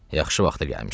Yaxşı vaxt gəlmişik.